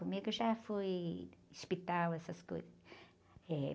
Comigo já fui hospital, essas coisas. Eh...